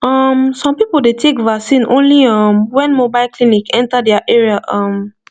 um some people dey take vaccine only um when mobile clinic enter their area um